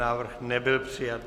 Návrh nebyl přijat.